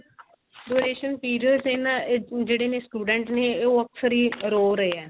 duration periods ਇਹਨਾਂ ਜਿਹੜੇ ਨੇ ਕੁਝ ਜਿਹੜੇ ਨੇ students ਨੇ ਉਹ ਅਕਸਰ ਹੀ ਰੋ ਰਹੇ ਏ